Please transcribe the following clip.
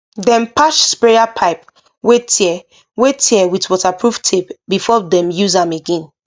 dem patch sprayer pipe wey tear wey tear with waterproof tape before dem use am again